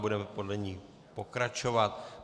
Budeme podle ní pokračovat.